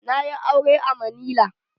Na yi aure a manila.